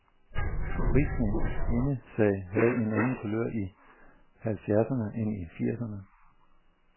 Frisind og kvindesag havde en anden kulør i halvfjerdserne end i firserne.